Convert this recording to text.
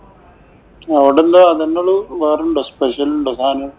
അവിടെന്താ? അത് തന്നെ ഉള്ളൂ. വേറെ ഉണ്ടോ? special ഉണ്ടോ സാധനം?